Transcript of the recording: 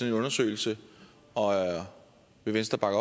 en undersøgelse vil venstre bakke